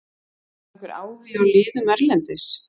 Var einhver áhugi hjá liðum erlendis?